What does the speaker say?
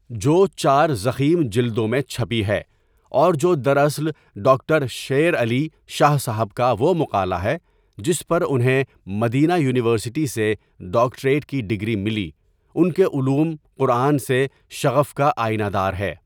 جو چار ضخیم جلدوں میں چھپی ہے اور جو دراصل ڈاکٹر شیر علی شاه صاحب کا وہ مقالہ ہے جس پر انہیں مدینہ یونیورسٹی سے ڈاکٹریٹ کی ڈگری ملی ان کے علوم قرآن سے شغف کا آینہ دار ہے.